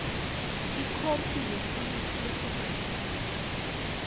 ikhophi yesiliphu lesibhalisiwe